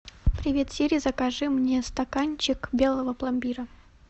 привет сири закажи мне стаканчик белого пломбира